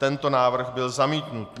Tento návrh byl zamítnut.